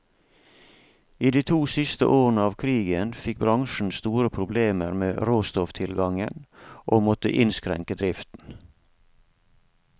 I de to siste årene av krigen fikk bransjen store problemer med råstofftilgangen, og måtte innskrenke driften.